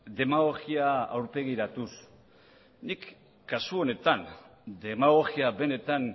demagogia aurpegiratuz nik kasu honetan demagogia benetan